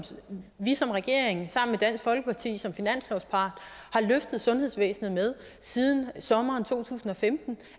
vi som regering sammen med dansk folkeparti som finanslovspart har løftet sundhedsvæsen med siden sommeren to tusind og femten